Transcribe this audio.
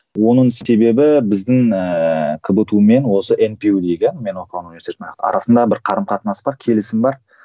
оның себебі біздің ыыы кбту мен осы мпю дегі мен оқыған университеттің арасында бір қарым қатынас бар келісім бар